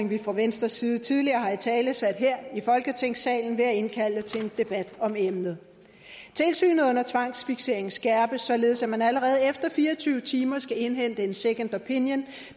vi fra venstres side tidligere har italesat her i folketingssalen ved at indkalde til en debat om emnet tilsynet under tvangsfiksering skærpes nu således at man allerede efter fire og tyve timer skal indhente en second opinion